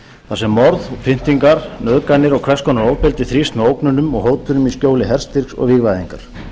þar sem morð pyndingar nauðganir og hvers konar ofbeldi þrífst með ógnunum og hótunum í skjóli herstyrks og vígvæðingar